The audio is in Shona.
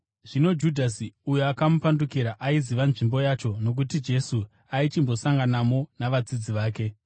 Zvino Judhasi uyo akamupandukira, aiziva nzvimbo yacho, nokuti Jesu aichimbosanganamo navadzidzi vake.